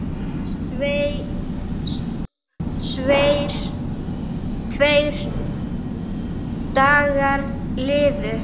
Tveir dagar liðu.